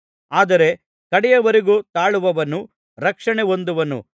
ಆದರೆ ಕಡೆಯವರೆಗೂ ತಾಳುವವನು ರಕ್ಷಣೆ ಹೊಂದುವನು